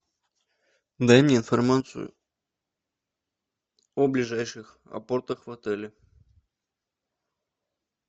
дай мне информацию о ближайших апортах в отеле